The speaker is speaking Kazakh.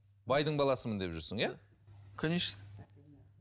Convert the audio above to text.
байдың баласымын деп жүрсің иә конечно